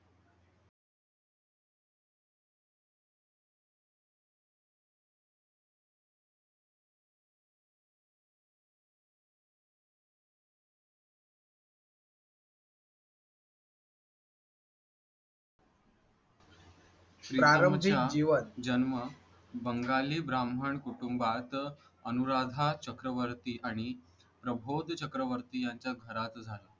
जन्म बंगाली ब्राम्हण कुटुंबात अनुराधा चक्रवर्ती आणि प्रभोद चक्रवर्ती यांच्या घरात झाला.